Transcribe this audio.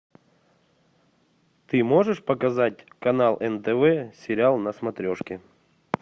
ты можешь показать канал нтв сериал на смотрешке